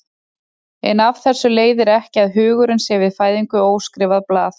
En af þessu leiðir ekki að hugurinn sé við fæðingu óskrifað blað.